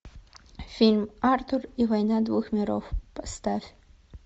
фильм артур и война двух миров поставь